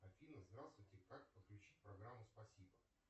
афина здравствуйте как подключить программу спасибо